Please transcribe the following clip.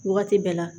Wagati bɛɛ la